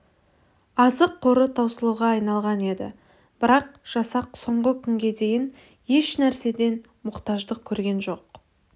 азық қоры таусылуға айналған еді бірақ жасақ соңғы күнге дейін ешнәрседен мұқтаждық көрген жоқ